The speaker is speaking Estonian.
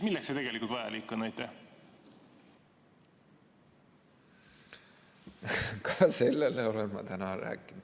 Milleks see vajalik on?